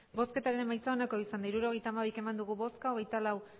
hirurogeita hamabi eman dugu bozka hogeita lau